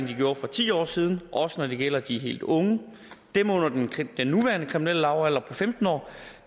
de gjorde for ti år siden også når det gælder de helt unge dem under den den nuværende kriminelle lavalder på femten år